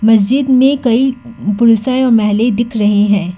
मस्जिद में कई पुरुष हैं और महिले दिख रहे हैं।